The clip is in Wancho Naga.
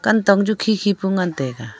kanthong cha khi khi pu ngan taiga.